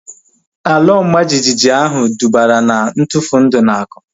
Ala ọma jijiji ahu dubara na ntufu ndụ na akụ